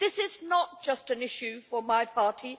This is not just an issue for my party.